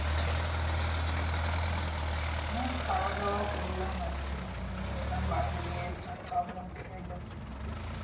হ্যাঁ খাওয়াদাওয়া করলাম এখনই নিয়ে এলাম বাইরে দিয়ে আমি ভাবলাম তোকে একবার ফোন করি।